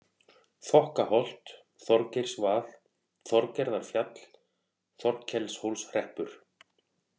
Þokkaholt, Þorgeirsvað, Þorgerðarfjall, Þorkelshólshreppur